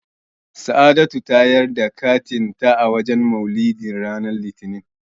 Sa'adatu ta yar da katin ta a wajen Maulidi ran Litinin.